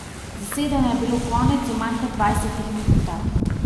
Zasedanja je bilo konec v manj kot dvajsetih minutah.